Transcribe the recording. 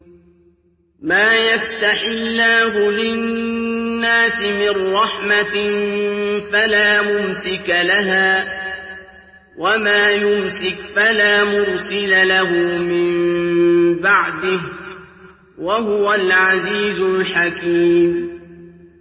مَّا يَفْتَحِ اللَّهُ لِلنَّاسِ مِن رَّحْمَةٍ فَلَا مُمْسِكَ لَهَا ۖ وَمَا يُمْسِكْ فَلَا مُرْسِلَ لَهُ مِن بَعْدِهِ ۚ وَهُوَ الْعَزِيزُ الْحَكِيمُ